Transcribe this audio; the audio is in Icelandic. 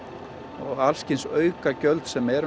og alls kyns auka gjöld sem eru